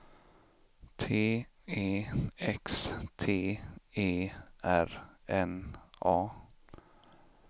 T E X T E R N A